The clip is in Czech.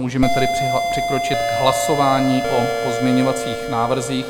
Můžeme tedy přikročit k hlasování o pozměňovacích návrzích.